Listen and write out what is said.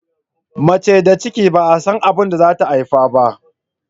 Mace da ciki ba'a san abinda zata haife ba.